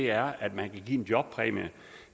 er at man kan give en jobpræmie